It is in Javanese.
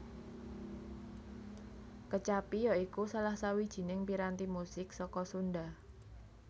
Kecapi ya iku salah sawijining piranti musik saka Sunda